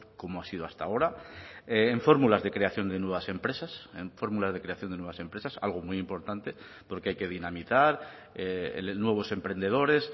como ha sido hasta ahora en fórmulas de creación de nuevas empresas en fórmulas de creación de nuevas empresas algo muy importante porque hay que dinamizar nuevos emprendedores